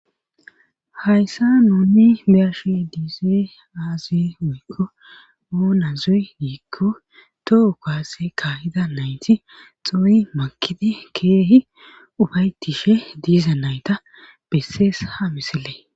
hayssa nuni beashi diizoy aazi woykko oonazoy giikko tohu kaase kaahida nayti xoy makidi keehi ufaytishe diiza nayta bessees ha misile